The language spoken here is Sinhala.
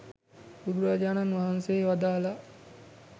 බුදුරජාණන් වහන්සේ වදාළා